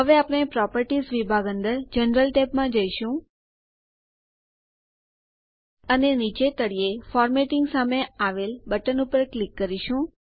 હવે આપણે પ્રોપર્ટીઝ વિભાગ અંદર જનરલ ટેબમાં જઈશું અને નીચે તળિયે ફોર્મેટિંગ સામે આવેલ બટન ઉપર ક્લિક કરો